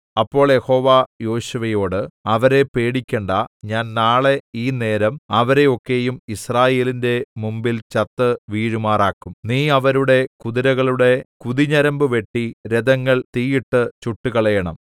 അപ്പോൾ യഹോവ യോശുവയോട് അവരെ പേടിക്കേണ്ടാ ഞാൻ നാളെ ഈ നേരം അവരെ ഒക്കെയും യിസ്രായേലിന്റെ മുമ്പിൽ ചത്തു വീഴുമാറാക്കും നീ അവരുടെ കുതിരകളുടെ കുതിഞരമ്പു വെട്ടി രഥങ്ങൾ തീയിട്ടു ചുട്ടുകളയേണം